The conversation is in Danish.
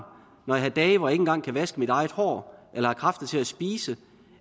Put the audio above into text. når jeg har dage hvor jeg ikke en gang kan vaske mit eget hår eller har kræfter til at spise